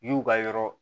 Ɲ'u ka yɔrɔ